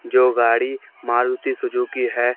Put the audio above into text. जो गाड़ी मारुति सुजुकी है।